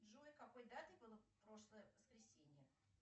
джой какой датой было прошлое воскресенье